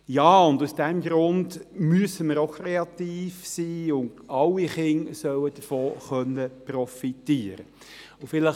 Ja, aus diesem Grund müssen wir kreativ sein, und alle Kinder sollen davon profitieren können.